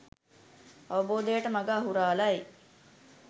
අවබෝධයට මග අහුරාලයි